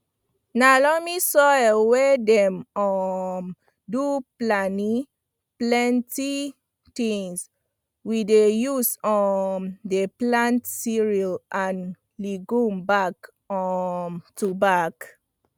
na loamy soil wey dey um do pleni plenti tins we dey use um dey plant cereals and legumes back um to back